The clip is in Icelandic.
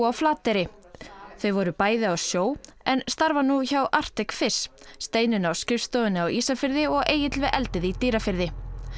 á Flateyri þau voru bæði á sjó en starfa nú hjá Arctic Steinunn á skrifstofunni á Ísafirði og Egill við eldið í Dýrafirði